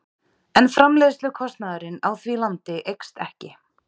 En framleiðslukostnaðurinn á því landi eykst ekki.